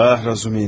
Ah Razumin.